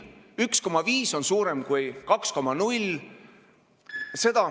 1,5 on suurem kui 2,0.